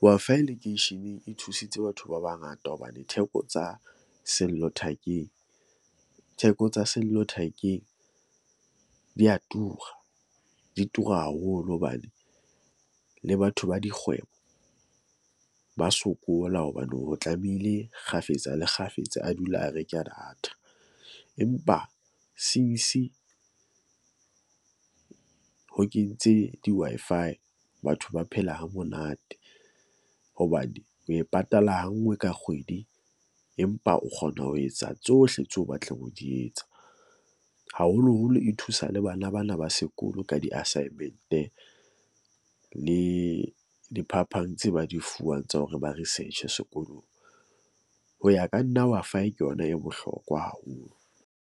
Wi-Fi lekeisheneng e thusitse batho ba bangata hobane theko tsa sellothakeng, theko tsa sellothakeng di ya tura, di tura haholo hobane le batho ba dikgwebo ba sokola hobane, ho tlamehile kgafetsa le kgafetsa a dula a reke data. Empa since ho kentse di-Wi-Fi, batho ba phela ha monate hobane o e patala ha nngwe ka kgwedi, empa o kgona ho etsa tsohle tseo o batlang ho di etsa. Haholoholo e thusa le bana ba na ba sekolo ka di-assignment-e le, diphapang tse ba di fuwang tsa hore ba research-e sekolong. Ho ya ka nna Wi-Fi ke yona e bohlokwa haholo.